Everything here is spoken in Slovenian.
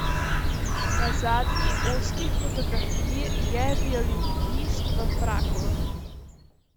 Na zadnji, ozki fotografiji je violinist v fraku.